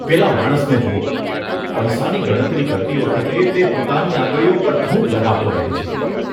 પેલા માણસને જુઓ. પૈસાની ગણતરી કરતી વખતે તે પોતાની આંગળીઓ પર થૂંક લગાવતો રહે છે.